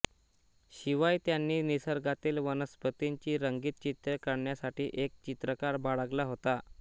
शिवाय त्यांनी निसर्गातील वनस्पतींची रंगीत चित्रे काढण्यासाठी एक चित्रकार बाळगला होता